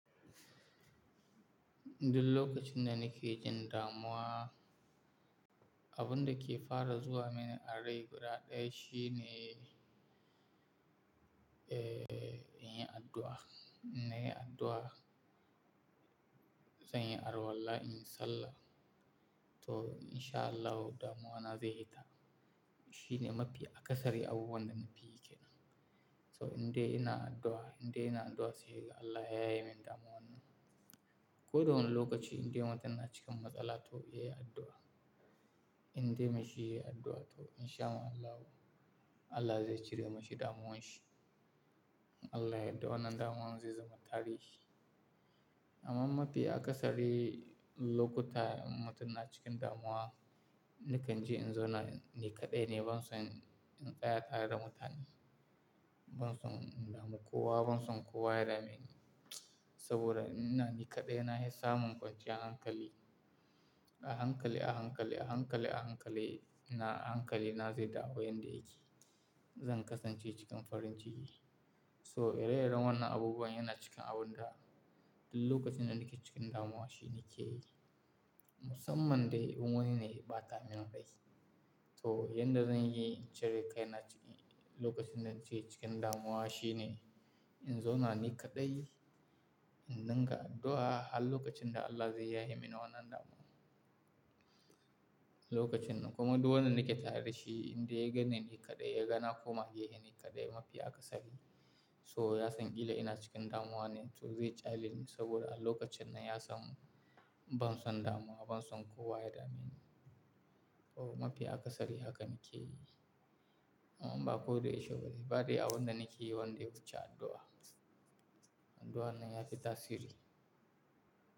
Duk lokacin da nake jin damuwa, abun da ke fara zuwa mini a rai guda ɗaya shine, eh, in yi addu'a. In yi addu'a, zan yi alwalla, in yi sallah. To in sha Allah damuwa na zai yi ta. Shi ne mafi akasari abu wanda na fi yi ke nan. So indai ina addu'a, indai ina addu'a sabida Allah ya ye mini damuwa nan. Ko dawani lokaci indai mutum na cikin matsala to, yayi addu'a. Indai mashi yayi addu'a to in sha Allah, Allah zai cire mashi damuwanshi. Allah ya yadda wannan damuwa zai zama tarihi. Amma mafi akasari lokuta in mutum na cikin damuwa, na kan ji in zo na, ni kaɗai ne ban son in tsaya tare da mutane. Ban son in damu kowa, ban son kowa ya dameni. Saboda in ina ni kaɗai na yi samun kwanciyan hankali. A hankali, a hankali, a hankali, a hankali, na hankali na zai dawo yanda yake. Zan kasance cikin farin ciki. So, ire-iren wannan abubuwan yana cikin abun da duk lokacin da nake cikin damuwa shine ke yi. Musamman dai in wani ne ya bata min rai To, yanda zan yi in cire kai na cikin lokacin da nake cikin damuwa shine in zo na ni kaɗai, in dinga addu'a har lokacin da Allah zai yaye mini wannan damuwa. Lokacin kuma duk wanda nake tare da shi, indai ya ganni ni kaɗai, ya ga na koma ke ni kaɗai mafi akasari. So, ya san kila ina cikin damuwa ne to zai kyale ni saboda a lokacin nan ya san ban son damuwa, ban son kowa ya dameni. To mafi akasari haka nake yi. Amma ba ko da yaushe ba, ba dai a abunda nake yi wanda yawu ci addu'a. Addu'a nan ya fi tasiri.